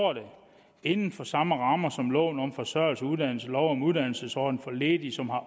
inden for samme rammer som loven om forsørgelse og uddannelse lov om uddannelsesordning for ledige som har